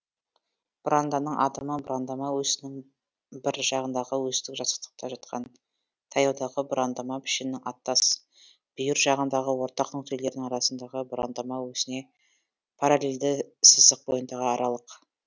бұранданың адымы бұрандама өсінің бір жағындағы өстік жазықтықта жатқан таяудағы бұрандама пішінінің аттас бүйір жағындағы орта нүктелерінің арасындағы бұрандама өсіне параллельді сызық бойындағы аралық